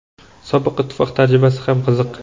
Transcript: Sobiq ittifoq tajribasi ham qiziq.